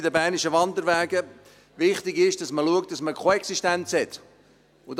Bei den Bernischen Wanderwegen ist wichtig, dass man schaut, dass man eine Koexistenz hat.